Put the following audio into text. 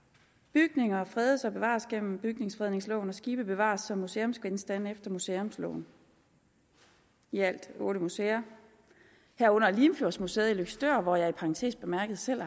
bygninger fredes og bevares gennem bygningsfredningsloven og skibe bevares som museumsgenstande efter museumsloven i alt otte museer herunder limfjordsmuseet i løgstør hvor jeg i parentes bemærket selv